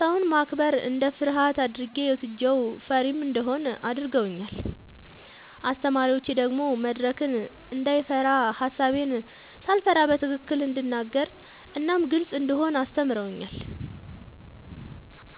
ሰውን ማክበር እንደ ፍርሃት አድርጌ ወስጄው ፈሪም እንደሆን አድርገውኛል። አስተማሪዎቼ ደግሞ መድረክን እንዳይፈራ ሐሳቤን ሳልፈራ በትክክል እንድናገር እናም ግልጽ እንደሆን አስተምረውኛል።